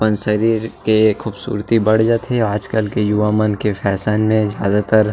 अपन शरीर के खूबसूरती बढ़ जथे आज कल के युवा मन के फैशन में ज़्यदा तर--